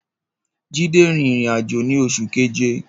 Jide rin irin-ajo ni Oṣu Keje